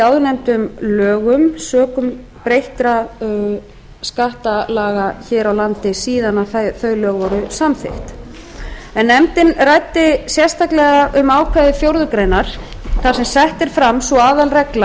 áðurnefndum lögum sökum breyttra skattalaga hér á landi síðan þau lög voru samþykkt en nefndin ræddi sérstaklega um ákvæði fjórðu grein þar sem sett er fram sú aðalregla